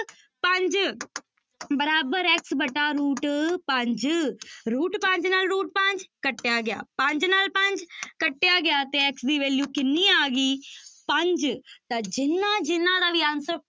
ਪੰਜ ਬਰਾਬਰ x ਵਟਾ root ਪੰਜ root ਪੰਜ ਨਾਲ root ਪੰਜ ਕੱਟਿਆ ਗਿਆ ਪੰਜ ਨਾਲ ਪੰਜ ਕੱਟਿਆ ਗਿਆ ਤੇ x ਦੀ value ਕਿੰਨੀ ਆ ਗਈ ਪੰਜ ਤਾਂ ਜਿਹਨਾਂ ਜਿਹਨਾਂ ਦਾ ਵੀ answer